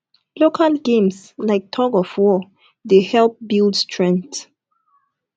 local games like thug of war dey help build strength